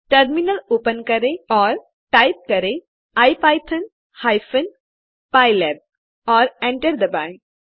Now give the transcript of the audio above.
terminal open करें और type करें इपिथॉन हाइफेन पाइलैब और enter दबाएं